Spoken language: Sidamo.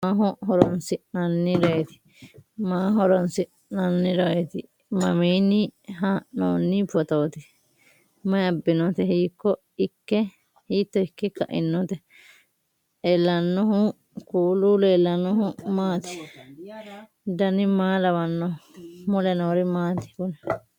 kuri maa leellishannoreeti maaho horoonsi'noonnireeti mamiinni haa'noonni phootooti mayi abbinoote hiito ikke kainote ellannohu kuulu maati dan maa lawannoho mule noori maati kuni